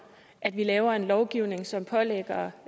at vi laver en lovgivning som pålægger